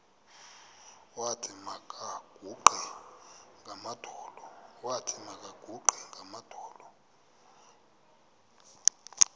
wathi makaguqe ngamadolo